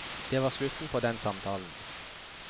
Det var slutten på den samtalen.